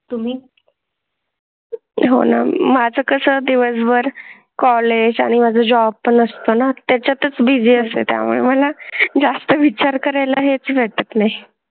तुम्ही हो ना माझं कसं दिवसभर कॉलेज आणि माझं जॉब पण असतो ना त्याच्या तच बिझी असते त्यामुळे मला जास्त विचार करायला हेच भेटत नाही.